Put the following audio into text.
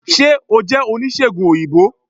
se o jẹ onisegùn oyinbo?